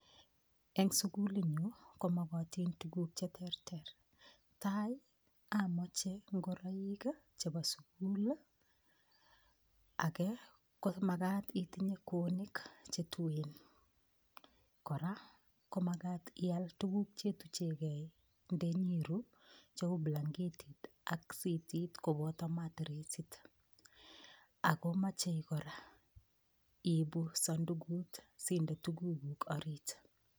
Eng sukulinyon ko magatin tuguk che terter. Tai amoche ingoroik chebo sugul ii age ko magat itinye kweonik che tuen. Kora ko magat ial tuguk chetuchegei ndenyeru cheu blanketit ak sitit koboto matresit ago mochei kora iipu samdukut sinde tuguguk orit.